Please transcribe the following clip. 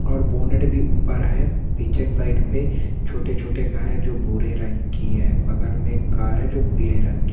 और बोनेट भी ऊपर है पीछे साइड पे छोटे छोटे घर हैजो भूरे रंग की है। बगल मे एक कार है जो पीले रंग की--